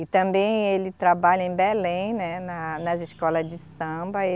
E também ele trabalha em Belém, né, na, nas escola de samba.